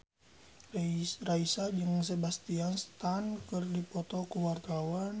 Raisa jeung Sebastian Stan keur dipoto ku wartawan